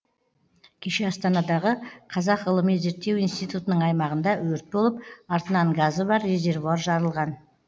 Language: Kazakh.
кеше астанадағы қазақ ғылыми зерттеу институтының аймағында өрт болып артынан газы бар резервуар жарылған